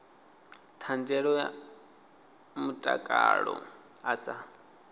ṱhanziela ya mutakalo a sa